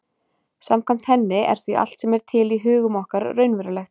Samkvæmt henni er því allt sem er til í hugum okkar raunverulegt.